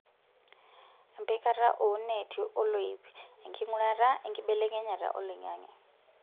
Empikata oo neeti oloip, enking'urata enkibelekenyata oloing'ang'e.